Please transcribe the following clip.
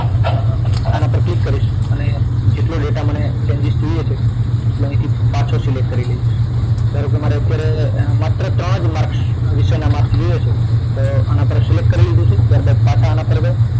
આના પર ક્લિક કરીશ અને જેટલો ડેટા મને changes જોઈએ છે તેટલો અહીથી પાછો select કરી લઇશ ધારો કે મારે અત્યારે માત્ર ત્રણ જ માર્કસ વિષય ના માર્કસ જોઈએ છે તો આના પર select કરી લીધું છે ત્યારબાદ પાછા આના પર